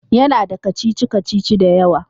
Ya na da kacici-kacici da yawa